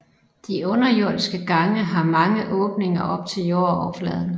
De underjordiske gange har mange åbninger op til jordoverfladen